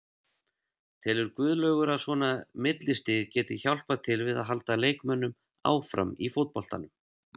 Telur Guðlaugur að svona millistig gæti hjálpað til við að halda leikmönnum áfram í fótboltanum?